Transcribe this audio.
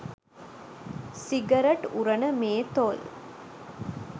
cigarette උරන මේ තොල්